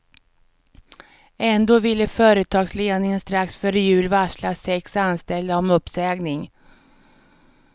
Ändå ville företagsledningen strax före jul varsla sex anställda om uppsägning.